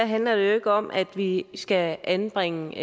handler det ikke om at vi skal anbringe